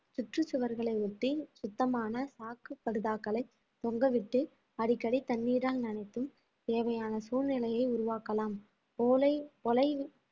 சுற்றுச்சுவர்களை ஒட்டி சுத்தமான சாக்கு படுதாக்களை தொங்கவிட்டு அடிக்கடி தண்ணீரால் நனைத்தும் தேவையான சூழ்நிலையை உருவாக்கலாம் ஓலை ஒலை